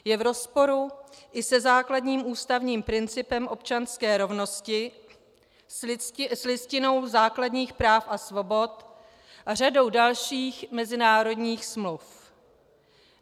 Je v rozporu i se základním ústavním principem občanské rovnosti, s Listinou základních práv a svobod a řadou dalších mezinárodních smluv.